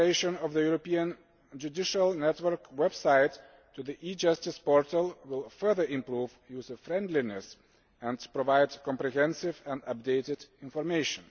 The migration of the European Judicial Network website to the e Justice portal will further improve user friendliness and provide comprehensive and updated information.